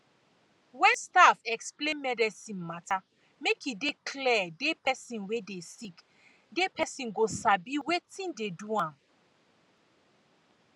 wen staff explain medicine mata make e clear de pesin wey dey sick de pesin go sabi wetin de do am